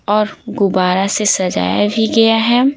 और गुबारा से सजाया भी गया है।